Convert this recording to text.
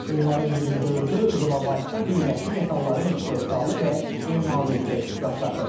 Onların 24-ü bilavasitə qiymətli metalların istehsalı və emalı üzrə ixtisaslaşıb.